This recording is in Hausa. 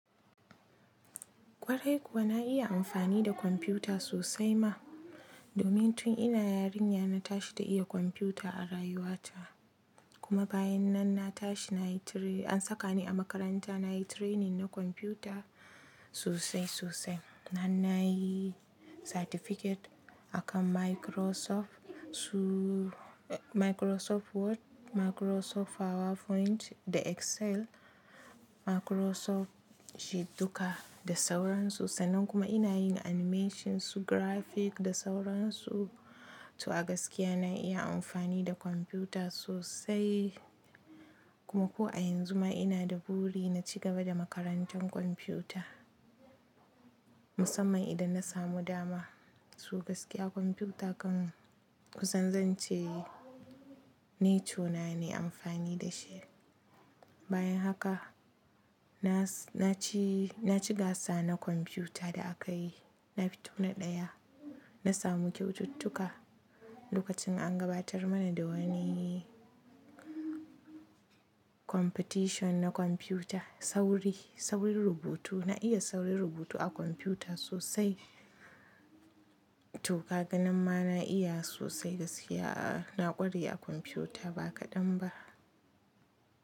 Kwarai kuwa na iya amfani da kwamfuta sosai ma. Domin tun ina yarinya na tashi ta iya kwamfuta a rayuwa ta. Kuma bayan nan na tashi an saka ni a makaranta nayi training na kwamfuta sosai sosai. Nan nayi certificate akan Microsoft su-- Microsoft Word, Microsoft PowerPoint da Excel, Microsoft shi duka da sauran su. Sannan kuma ina yin animation su graphic da sauran su. To a gaskiya na iya amfani da kwamfuta sosai. Kuma ko a yanzu ma ina da buri na cigaba da makarantar kwamfuta. Musamman idan na samu dama. Su gaskiya kwamfuta kan kusanzance nature na ne amfani da shi. Bayan haka na ci, na ci gasa na kwamfuta da akayi. Na fito na ɗaya. Na samu kyaututtuka lokacin an gabatar mana da wani competition na kwamfuta. Sauri, sauri rubutu. Na iya sauri rubutu a kwamfuta sosai. To gaganin ma na iya sosai gaskiya a-- na ƙware a kwamfuta ba kaɗan ba.